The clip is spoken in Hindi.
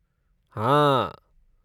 हाँ।